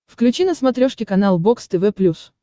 включи на смотрешке канал бокс тв плюс